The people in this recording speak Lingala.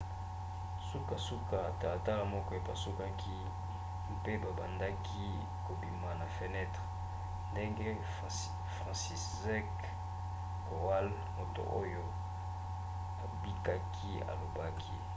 sukasuka talatala moko epasukaki mpe babandaki kobima na fenentre ndenge franciszek kowal moto oyo abikaki alobaki